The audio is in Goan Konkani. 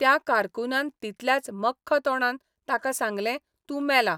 त्या कारकूनान तितल्याच मख्ख तोंडान ताका सांगलें तूं मेला.